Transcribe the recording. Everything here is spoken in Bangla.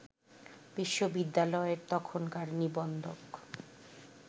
বিশ্ববিদ্যালয়ের তখনকার নিবন্ধক